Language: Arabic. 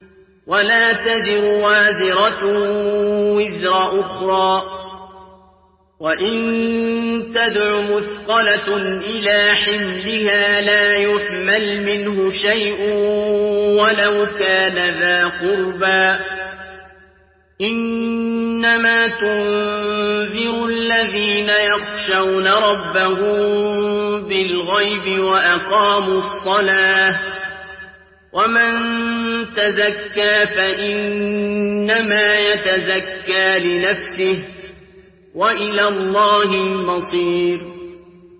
وَلَا تَزِرُ وَازِرَةٌ وِزْرَ أُخْرَىٰ ۚ وَإِن تَدْعُ مُثْقَلَةٌ إِلَىٰ حِمْلِهَا لَا يُحْمَلْ مِنْهُ شَيْءٌ وَلَوْ كَانَ ذَا قُرْبَىٰ ۗ إِنَّمَا تُنذِرُ الَّذِينَ يَخْشَوْنَ رَبَّهُم بِالْغَيْبِ وَأَقَامُوا الصَّلَاةَ ۚ وَمَن تَزَكَّىٰ فَإِنَّمَا يَتَزَكَّىٰ لِنَفْسِهِ ۚ وَإِلَى اللَّهِ الْمَصِيرُ